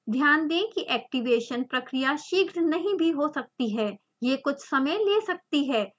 ध्यान दें कि एक्टिवेशन प्रक्रिया शीघ्र नहीं भी हो सकती है यह कुछ समय ले सकती है